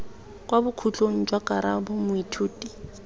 kwa bokhutlong jwa karabo moithuti